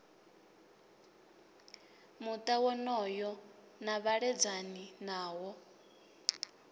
muta wonoyo na vhaledzani nawo